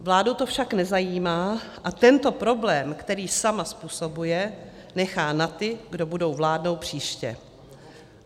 Vládu to však nezajímá a tento problém, který sama způsobuje, nechá na ty, kdo budou vládnout příště.